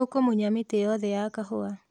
Tũkũmunya mĩtĩ yothe ya kahũa